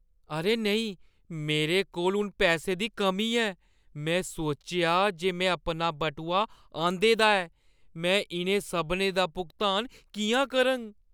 अरे नेईं! मेरे कोल हून पैसे दी कमी ऐ, में सोचेआ जे में अपना बटुआ आंह्‌दे दा ऐ। में इʼनें सभनें दा भुगतान किʼयां करङ?